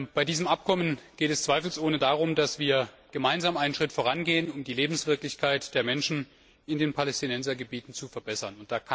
Bei diesem Abkommen geht es zweifelsohne darum, dass wir gemeinsam einen Schritt vorangehen, um die Lebenswirklichkeit der Menschen in den Palästinensergebieten zu verbessern.